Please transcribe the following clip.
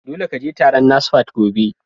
Dole ka je taron NASFAT gobe!